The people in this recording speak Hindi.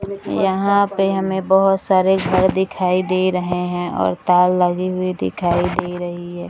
यहाँ पे हमें बहुत सारे घर दिखाई दे रहें हैं और तार लगे हुई दिखाई दे रही है।